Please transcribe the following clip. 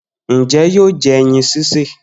Njẹ yóò jẹ ẹyin sise?